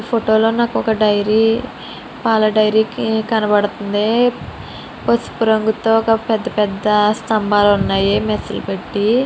ఈ ఫోటో లో నాకు ఒక డైరీ పాల డైరీ కనబడతోంది పసుపు రంగు తో ఒక పెద్ద పెద్ద స్తంభాలు ఉన్నాయి మెస్ పెట్టి.